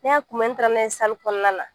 Ne y'a kunbɛn ne taala na ye kɔnɔna na.